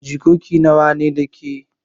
Jikoki nawa ne da kai.